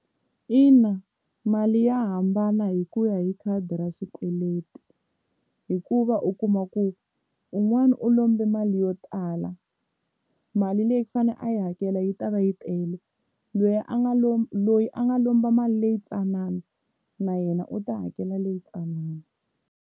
Ina mali ya hambana hi ku ya hi khadi ra xikweleti hikuva u kuma ku un'wana u lombe mali yo tala mali leyi ku fanele a yi hakela yi ta va yi tele lweyi a nga loyi a nga lomba mali leyi tsanana na yena u ta hakela leyi tsanana.